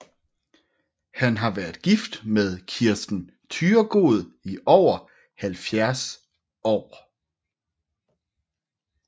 Han har været gift med Kirsten Thyregod i over 70 år